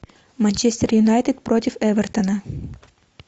манчестер юнайтед против эвертона